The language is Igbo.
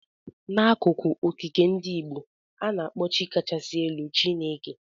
N'akụkọ okike ndị Igbo, a na-akpọ Chi kachasị elu Chineke.